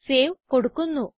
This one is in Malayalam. സേവ് കൊടുക്കുന്നു